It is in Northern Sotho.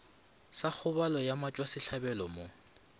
sa kgobalo ya motšwasehlabelo mo